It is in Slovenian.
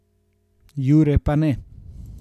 Jure pa ne.